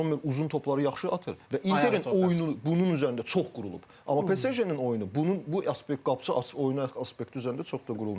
Zommer uzun topları yaxşı atır və Interin oyunu bunun üzərində çox qurulub, amma PSG-nin oyunu bunun bu aspekt qapıçı açıq oyuna aspekti üzərində çox da qurulmayıb.